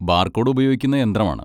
Barcode ഉപയോഗിക്കുന്ന യന്ത്രമാണ്.